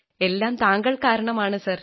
എല്ലാം താങ്കൾ കാരണമാണ് സാർ